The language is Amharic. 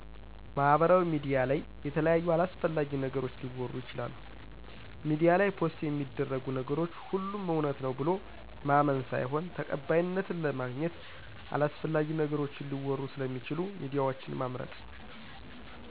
ማሀበራውያ ሚዲያ ለይ የተለያዩ አላሰፍላጊ ነገሮች ሊወሩ ይችላሉ ሜዲያ ላይ ፖሰት የሚደርጉ ነገሮች ሆሎም እውነት ነው ብሎ ማመን ሳይሆን ተቀባይነትን ለማግኝት አላሰፍላጊ ነገሮችን ሊወሩ ሰለሚችሉ ሚዲያወችን መምርጥ።